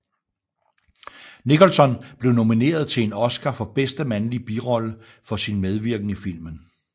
Nicholson blev nomineret til en Oscar for bedste mandlige birollefor sin medvirken i filmen